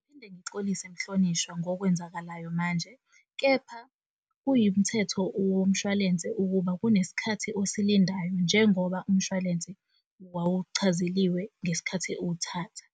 Ngiphinde ngixolise Mhlonishwa ngokwenzakalayo manje kepha kuyimthetho womshwalense ukuba kunesikhathi osilindayo njengoba umshwalense wawuchazeliwe ngesikhathi uwuthatha.